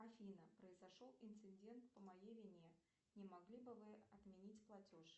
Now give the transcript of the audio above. афина произошел инцидент по моей вине не могли бы вы отменить платеж